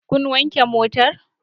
Kun wanke motar?